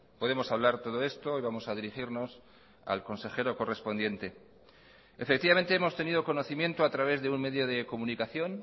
podemos hablar todo esto y vamos a dirigirnos al consejero correspondiente efectivamente hemos tenido conocimiento a través de un medio de comunicación